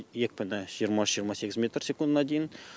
екпіні жиырма үш жиырма сегіз метр секундына дейін